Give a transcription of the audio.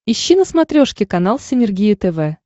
ищи на смотрешке канал синергия тв